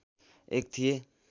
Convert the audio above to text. एक थिए